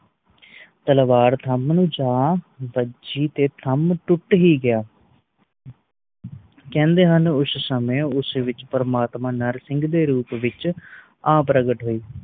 ਤਲਵਾਰ ਥਮ ਨੂੰ ਜਾ ਵੱਜੀ ਤੇ ਥਮ ਟੁੱਟ ਹੀ ਗਯਾ ਕੈਂਦੇ ਹਨ ਉਸ ਸਮੇ ਉਸ ਵਿਚ ਪ੍ਰਮਾਤਮਾ ਨਰਸਿੰਘ ਦੇ ਰੂਪ ਵਿਚ ਆ ਪ੍ਰਗਟ ਹੋਏ